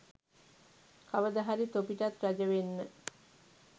කවද හරි තොපිටත් රජ වෙන්න